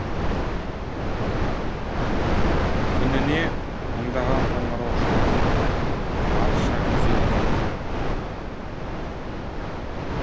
күніне мыңдаған қоңырау шалынып арыз шағым түседі екен